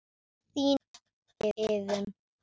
Þín, Iðunn.